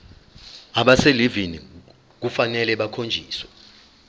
abaselivini kufanele bakhonjiswe